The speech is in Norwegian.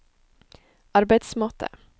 arbeidsmåte